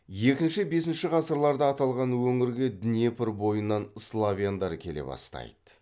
екінші бесінші ғасырларда аталған өңірге днепр бойынан славяндар келе бастайды